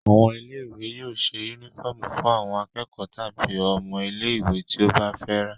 Àwọn ilé-ìwé yóò ṣe únífọ́ọ́mù fún àwọn akẹ́kọ̀ọ́ tàbí ọmọ ilé-ìwé tí ó bá fẹ́ rà.